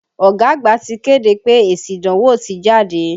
Ọ̀gá àgbà ti kéde pé èsì ìdánwò ti jáde.